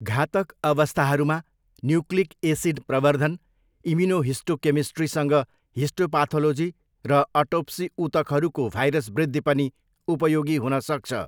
घातक अवस्थाहरूमा, nucleic acid प्रवर्धन, इम्युनोहिस्टोकेमिस्ट्रीसँग हिस्टोपाथोलोजी र अटोप्सी ऊतकहरूको भाइरस वृद्धि पनि उपयोगी हुन सक्छ।